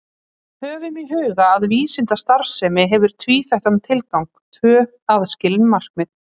Höfum í huga að vísindastarfsemi hefur tvíþættan tilgang, tvö aðskilin markmið.